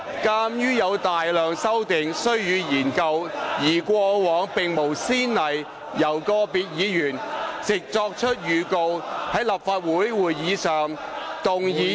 鑒於有大量修訂須予研究，而過往並無先例由個別議員藉作出預告，在立法會會議上動議擬議決議案以修改......